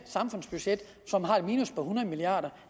budget som har et minus på hundrede milliard